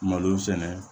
Malo sɛnɛ